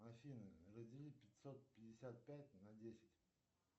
афина раздели пятьсот пятьдесят пять на десять